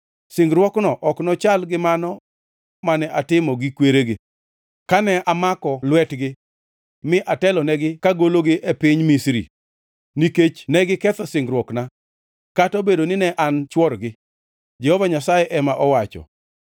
Singruokno ok nochal gi mano mane atimo gi kweregi, kane amako lwetgi mi atelonegi kagologi e piny Misri, nikech negiketho singruokna, kata obedo nine an chworgi,” Jehova Nyasaye ema owacho.